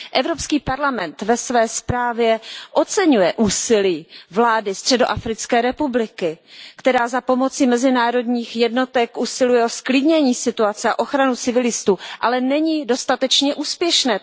Evropský parlament ve své zprávě ocěňuje úsilí vlády Středoafrické republiky, která za pomoci mezinárodních jednotek usiluje o zklidnění situace a ochranu civilistů, ale toto úsilí není dostatečně úspěšné.